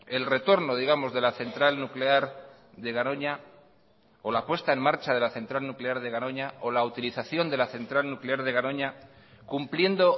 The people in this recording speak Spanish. el retorno digamos de la central nuclear de garoña o la puesta en marcha de la central nuclear de garoña o la utilización de la central nuclear de garoña cumpliendo